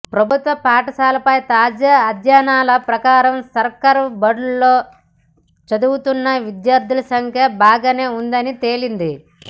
ప్రభుత్వ పాఠశాలలపై తాజా అధ్యయనాల ప్రకారం సర్కారు బడుల్లో చదువుతున్న విద్యార్థుల సంఖ్య బాగానే ఉందని తేలింది